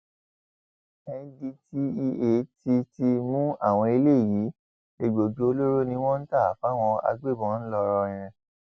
ndtea ti ti mú àwọn eléyìí egbòogi olóró ni wọn ń tà fáwọn agbébọn ńlọrọrìn